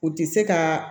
U ti se kaaa